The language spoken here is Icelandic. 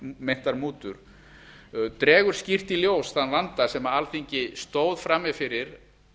meintar mútur dregur skýrt í ljós þann vanda sem alþingi stóð frammi fyrir